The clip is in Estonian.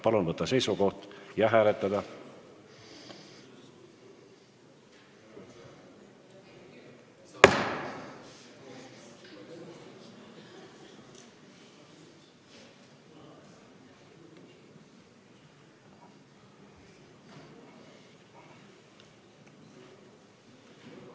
Palun võtta seisukoht ja hääletada!